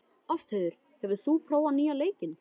Ástheiður, hefur þú prófað nýja leikinn?